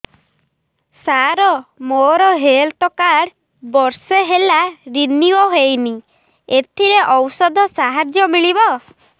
ସାର ମୋର health card ବର୍ଷେ ହେଲା ରିନିଓ ହେଇନି ଏଥିରେ ଔଷଧ ସାହାଯ୍ୟ ମିଳିବ